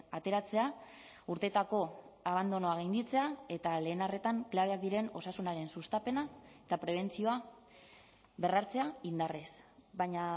ateratzea urteetako abandonoa gainditzea eta lehen arretan klabeak diren osasunaren sustapena eta prebentzioa berrartzea indarrez baina